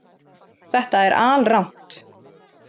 Þetta er alrangt